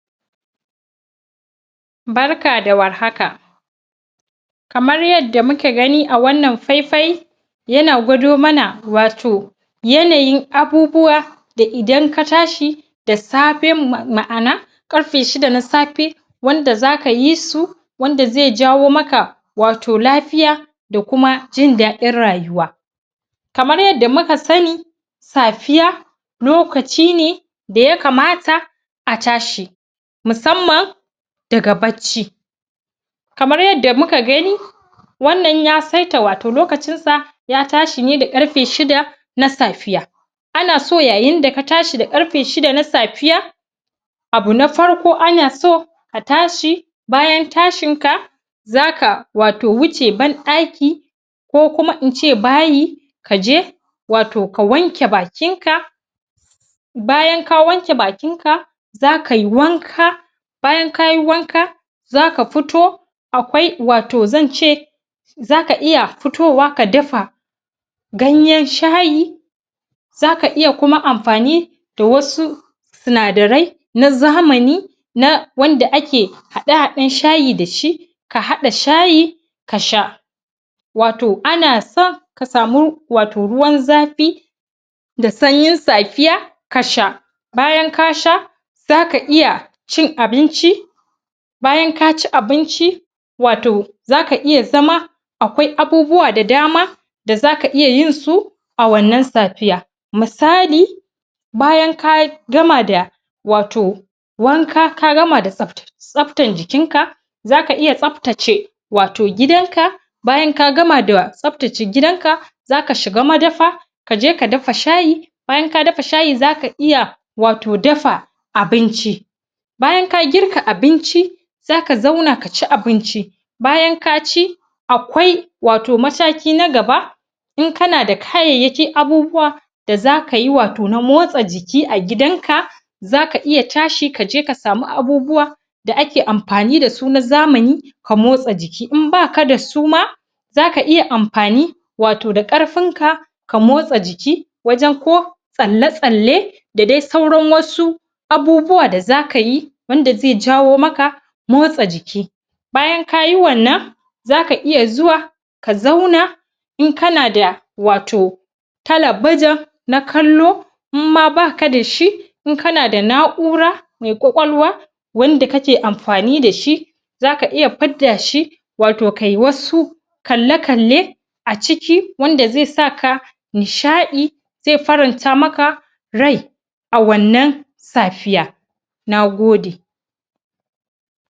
Barka da warhaka kamar yadda muka gani a wannan faifai yana gwado mana wato yanayin abubuwa da idan ka tashi da safe ma'ana ƙarfe shida na safe wanda za ka yi su wanda zai jawo maka wato lafiya da kuma jin daɗin rayuwa kamar yadda muka sani safiya lokaci ne da ya kamata a tashi musamman daga bacci. kamar yadda muka gani wannan ya saita wato lokacinsa ya tashi ne da ƙarfe shida na safiya. Ana so yayin da ka tashi da ƙarfe shida na safiya, Abu na farko ana so ka tashi, bayan tashinka za ka wato wuce ban ɗaki ko kuma in ce bayi, ka je wato ka wanke bakinka bayan ka wanke bakinka za kai wanka bayan ka yi wanka za ka fito akwai wato zan ce za ka iya fitowa ka dafa ganyen shayi za ka iya kuma amfani da wasu sinadarai na zamani na wanda ake haɗe-haɗen shayi da shi, ka haɗa shayi ka sha. Wato ana so ka samu wato ruwan zafi da sanyin safiya ka sha. Bayan ka sha za ka iya cin abinci bayan ka ci abinci za ka iya zama akwai abubuwa da dama da za ka iya yinsu a wannan safiya, misali. bayan ka gama da wato wanka ka gama da tsabtan jikinka za ka iya tsabtace wato gidanka bayan ka gama da tsabtace gidanka za ka shiga madafa ka je ka dafa shayi bayan ka dafa shayi za ka iya wato dafa abinci. bayan ka girka abinci, za ka zauna ka ci abinci bayan ka ci akwai masauki na gaba in kana da kayayyakin abubuwa da za ka yi wato na motsa jiki a gidanka za ka iya tashi ka je ka sami abubuwa da ake amfani da su na zamani ka motsa jiki. In ba ka da su ma zaka iya amfani wato da ƙarfinka ka motsa jiki wajen ko tsalle-tsalle da dai sauran wasu abubuwa da za ka yi wanda zai jawo maka motsa jiki bayan ka yi wannan za ka iya zuwa ka zauna in kana da wato talabijin na kallo in ma ba ka da shi in kana da na'ura mai ƙwaƙwalwa wanda kake amfani da shi za ka iya fidda shi wato kai wasu kalle-kalle a ciki wanda zai saka nishaɗi zai faranta maka rai a wannan safiya na gode.